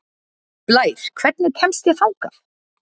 Blær, hvernig kemst ég þangað?